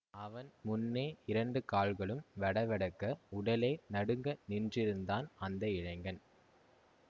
அவன் முன்னே இரண்டு கால்களும் வெடவெடக்க உடலே நடுங்க நின்றிருந்தான் அந்த இளைஞன்